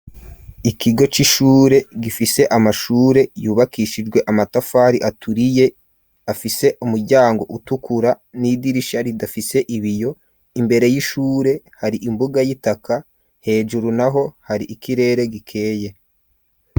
Ikigo c'ishure gifise amashure yubakishijwe amatafari aturiye, afise umuryango utukura n'idirisha ridafise ibiyo, imbere y'ishure hari imbuga y'itaka hejuru naho hari ikirere gikeye.